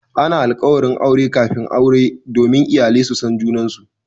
Ana alkawarin aure kafin aure domin iyalai su san junansu.